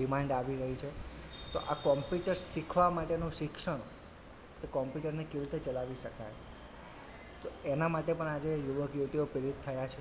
demand આવી રહી છે તો આ computer શીખવા માટેનું શિક્ષણ computer ને કેવી રીતે ચલાવી શકાય તો એનાં માટે આજે યુવક -યુવતીઓ પ્રેરિત થયાં છે